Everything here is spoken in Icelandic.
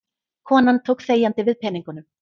Konan tók þegjandi við peningunum.